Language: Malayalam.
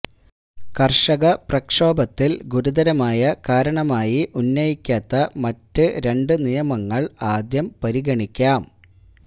കർഷക പ്രക്ഷോഭത്തിൽ ഗുരുതരമായ കാരണമായി ഉന്നയിക്കാത്ത മറ്റ് രണ്ട് നിയമങ്ങൾ ആദ്യം പരിഗണിക്കാം